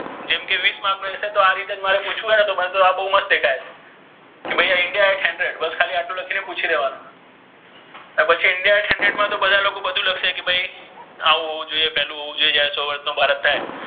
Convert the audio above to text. જેમ કે વિસ માર્ક મા easy આ રીતે મારે પુછ્વુ હોય ને તો આ બહુ કે ભઇ indian આઠ્સો કે ખાલી એટ્લુ લખિ ને પુછી લેવાનુ અને પછી india આઠ્સો મા બધા લોકો બધુ લખે કે ભઇ આવુ હોવુ જોઇએ પેલુ હોવુ જોઇયે ચાર્સો વર્ષ નુ ભારત થાય્.